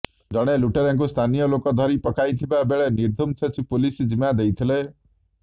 ଜଣେ ଲୁଟେରାକୁ ସ୍ଥାନୀୟ ଲୋକେ ଧରି ପକାଇଥିବା ବେଳେ ନିର୍ଦ୍ଧୁମ ଛେଚି ପୁଲିସ ଜିମା ଦେଇଥିଲେ